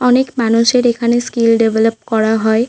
অনেক মানুষের এখানে স্কিল ডেভেলপ করা হয়।